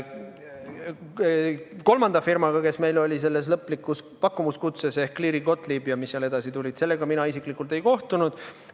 Kolmanda firmaga, kes meil oli selles lõplikus pakkumuskutses, ehk Cleary Gottlieb ... ja mis seal edasi tulid, mina isiklikult ei kohtunud.